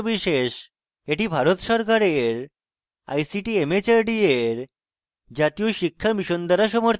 এটি ভারত সরকারের ict mhrd এর জাতীয় শিক্ষা mission দ্বারা সমর্থিত